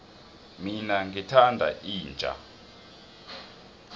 mina ngithanda inja